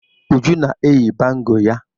Uju na-eyi bangọ ya.